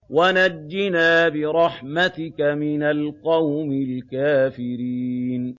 وَنَجِّنَا بِرَحْمَتِكَ مِنَ الْقَوْمِ الْكَافِرِينَ